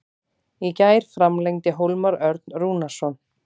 Í gær framlengdi Hólmar Örn Rúnarsson.